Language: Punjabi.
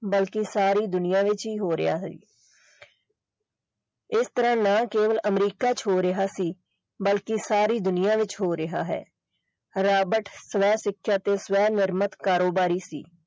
ਬਲਕਿ ਸਾਰੀ ਦੁਨੀਆ ਵਿੱਚ ਹੀ ਹੋ ਰਿਹਾ ਹੈ ਇਹ ਸਿਰਫ ਨਾ ਕੇਵਲ ਅਮਰੀਕਾ ਵਿੱਚ ਹੋ ਰਿਹਾ ਸੀ ਬਲਕਿ ਸਾਰੀ ਦੁਨੀਆ ਵਿੱਚ ਹੋ ਰਿਹਾ ਹੈ ਰਾਬਰਟ ਸ੍ਵੈ ਸਿੱਖਿਆ ਤੇ ਸ੍ਵੈ ਨਿਰਮਤ ਕਾਰੋਬਾਰੀ ਸੀ।